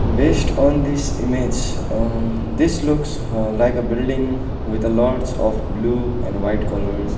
based on the image uh this looks uh like a building with a lots of blue and white colours.